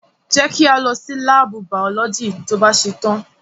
Jẹ́ kí a lọ sí láàbù biology to bá ṣetán.